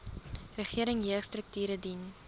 regering jeugstrukture dien